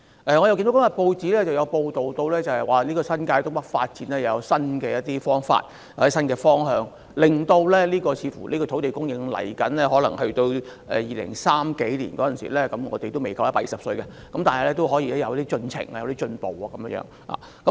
我看見今天的報章報道，新界東北發展有新方法或新方向，令未來的土地供應似乎去到2030年代——我們屆時仍未夠120歲——仍然可以有進程、有進步。